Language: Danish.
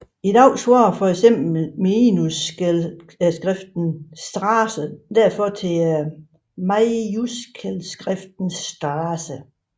I dag svarer fx minuskelskriftens Straße derfor til majuskelskriftens STRAẞE